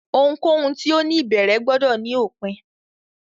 Ohunkohun ti o ni ibẹrẹ gbọdọ ni opin